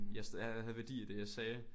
Jeg stadig havde værdi i det jeg sagde